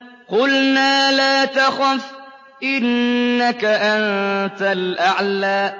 قُلْنَا لَا تَخَفْ إِنَّكَ أَنتَ الْأَعْلَىٰ